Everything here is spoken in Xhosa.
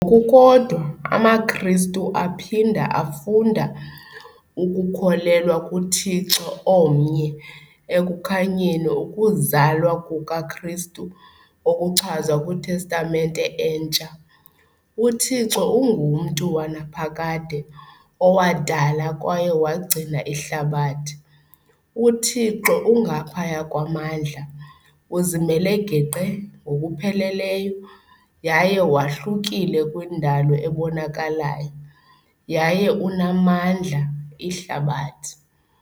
Ngokukodwa, amaKristu aphinda afunda ukukholelwa kuThixo omnye ekukhanyeni ukuzalwa kukaKristu okuchazwe kwiTestamente Entsha . UThixo unguMntu wanaphakade owadala kwaye wagcina ihlabathi. uThixo ungaphaya kwamandla, uzimele geqe ngokupheleleyo yaye wahlukile kwindalo ebonakalayo, yaye unamandla, ihlabathi.